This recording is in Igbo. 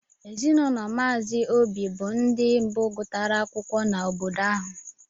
ezinụlọ mazi obi bu ndi mbu gutara akwụkwọ n' obodo ha.